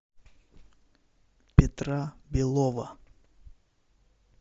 петра белова